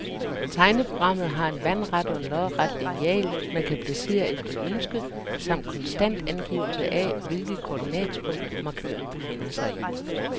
Tegneprogrammet har en vandret og en lodret lineal, man kan placere efter ønske, samt konstant angivelse af, hvilket koordinatpunkt markøren befinder sig i.